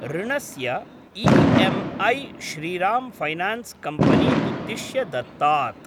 ऋणस्य EMI. Shriram finance company उद्दिश्य दत्तात्।